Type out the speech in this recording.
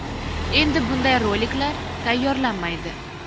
Endi bunday roliklar tayyorlanmaydi”.